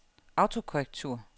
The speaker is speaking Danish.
autokorrektur